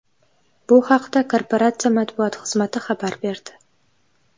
Bu haqda korporatsiya matbuot xizmati xabar berdi .